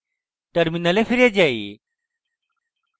terminal ফিরে যাই